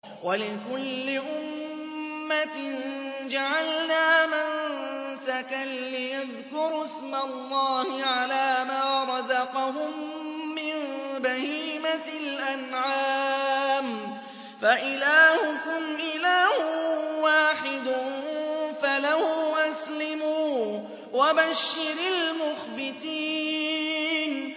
وَلِكُلِّ أُمَّةٍ جَعَلْنَا مَنسَكًا لِّيَذْكُرُوا اسْمَ اللَّهِ عَلَىٰ مَا رَزَقَهُم مِّن بَهِيمَةِ الْأَنْعَامِ ۗ فَإِلَٰهُكُمْ إِلَٰهٌ وَاحِدٌ فَلَهُ أَسْلِمُوا ۗ وَبَشِّرِ الْمُخْبِتِينَ